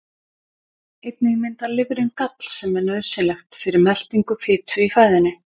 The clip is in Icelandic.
Einnig myndar lifrin gall sem er nauðsynlegt fyrir meltingu fitu í fæðunni.